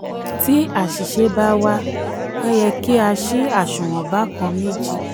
tí aṣìṣe bá wa a yẹ yẹ kí ṣí aṣunwon bákàn-méjì.